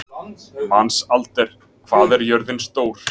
Mensalder, hvað er jörðin stór?